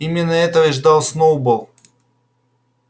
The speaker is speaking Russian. именно этого и ждал сноуболл